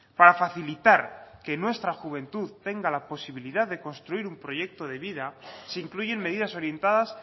para facilitar que nuestra juventud tenga la posibilidad de construir un proyecto de vida se incluyen medidas orientadas